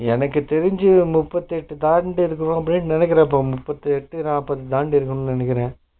என்னக்கு தெரிஞ்சு ஒரு முப்பத்தி எட்ட தாண்டி இருக்கும்ன்னு நினைகுறேன்ப்பா முப்பத்தி எட்ட, நாப்பத தாண்டிருக்கும் நினைகுறே